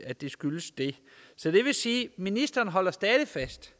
at det skyldes det ministeren holder stadig fast